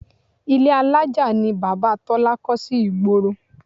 Ile alájà ni Bàbá Tọ́lá kọ́ sí ìgboro